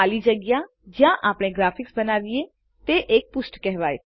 ખાલી જગ્યા જ્યાં આપણે ગ્રાફિક્સ બનાવીએ તે એક પૃષ્ઠ કેહવાય